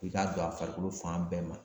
I k'a don a farikolo fan bɛɛ ma.